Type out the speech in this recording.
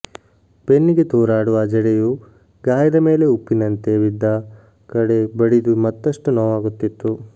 ಬೆನ್ನಿಗೆ ತೂರಾಡುವ ಜಡೆಯು ಗಾಯದ ಮೇಲೆ ಉಪ್ಪಿನಂತೆ ಬಿದ್ದ ಕಡೆ ಬಡಿದು ಮತ್ತಷ್ಟು ನೋವಾಗುತಿತ್ತು